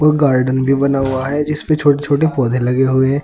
Gordon भी बना हुआ है जिस पे छोटे छोटे पौधे लगे हुए हैं।